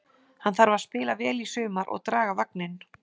Hann þarf að spila vel í sumar og draga vagninn.